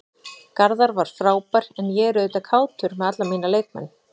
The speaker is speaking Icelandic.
Garðar var frábær en ég er auðvitað kátur með alla mína leikmenn.